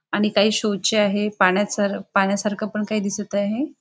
आणि काही शो ची आहे पाण्याच पाण्यासारख पण काही दिसत आहे.